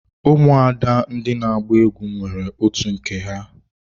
Ụmụada ndị na agba egwu nwere otu nke ya.